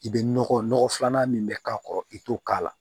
I bɛ nɔgɔ nɔgɔ filanan min bɛ k'a kɔrɔ i t'o k'a la